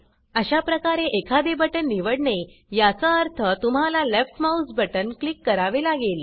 अशाप्रमाणे एखादे बटन निवडने याचा अर्थ तुम्हाला लेफ्ट माउस बटन क्लिक करावे लागेल